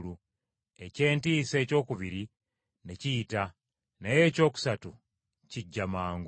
Eky’entiisa ekyokubiri ne kiyita, naye ekyokusatu kijja mangu.